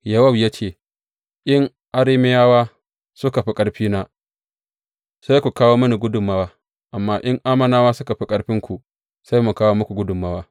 Yowab ya ce, In Arameyawa suka fi ƙarfina, sai ku kawo mini gudummawa; amma in Ammonawa suka fi ƙarfinku, sai mu kawo muku gudummawa.